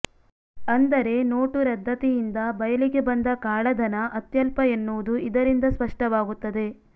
ಅಂದರೆ ನೋಟು ರದ್ದತಿಯಿಂದ ಬಯಲಿಗೆ ಬಂದ ಕಾಳಧನ ಅತ್ಯಲ್ಪ ಎನ್ನುವುದು ಇದರಿಂದ ಸ್ಪಷ್ಟವಾಗುತ್ತದೆ